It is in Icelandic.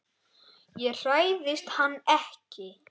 Ég hræðist hann ekki.